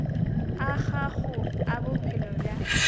a gago a bophelo bja